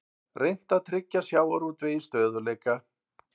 Reynt að tryggja sjávarútvegi stöðugleika